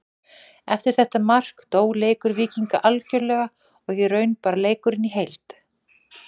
Eftir þetta mark dó leikur Víkinga algjörlega og í raun bara leikurinn í heild.